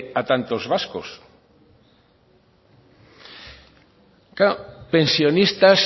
a tantos vascos claro pensionistas